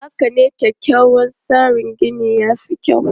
Haka ne, kyakkyawan tsarin gini ya fi kyau.